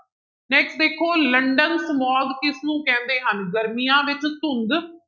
Next ਦੇਖੋ London smog ਕਿਸਨੂੰ ਕਹਿੰਦੇ ਹਨ ਗਰਮੀਆਂ ਵਿੱਚ ਧੁੰਦ